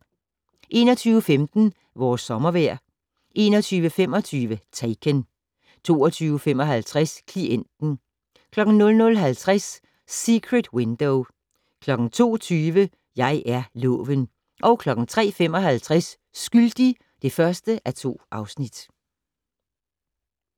21:15: Vores sommervejr 21:25: Taken 22:55: Klienten 00:50: Secret Window 02:20: Jeg er loven 03:55: Skyldig (1:2)